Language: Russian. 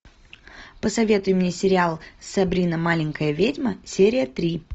посоветуй мне сериал сабрина маленькая ведьма серия три